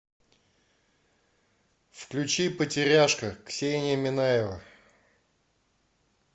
включи потеряшка ксения минаева